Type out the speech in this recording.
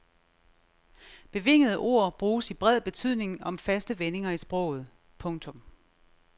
Bevingede ord bruges i bred betydning om faste vendinger i sproget. punktum